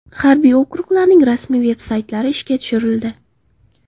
Harbiy okruglarning rasmiy veb-saytlari ishga tushirildi.